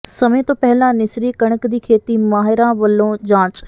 ਸਮੇਂ ਤੋਂ ਪਹਿਲਾਂ ਨਿਸਰੀ ਕਣਕ ਦੀ ਖੇਤੀ ਮਾਿਹਰਾਂ ਵੱਲੋਂ ਜਾਂਚ